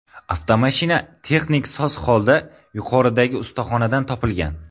Avtomashina texnik soz holda yuqoridagi ustaxonadan topilgan.